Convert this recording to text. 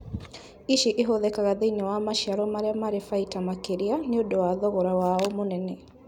Ici ĩhũthĩkaga thĩinĩ wa maciaro marĩa marĩ baita makĩria nĩũndũ wa thogora wao mũnene